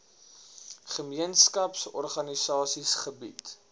gemeenskaps organisasies gebied